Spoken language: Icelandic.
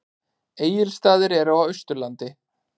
Egilsstaðir eru á Austurlandi.